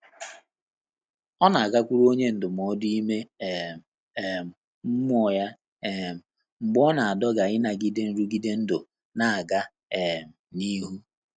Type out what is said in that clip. Ọ́ nà-àgàkwùrù ọ́nyé ndụ́mọ́dụ́ ímé um um mmụ́ọ́ yá um mgbè ọ́ nà-àdọ́gà ínàgídé nrụ́gídé ndụ́ nà-ágá um n’íhú.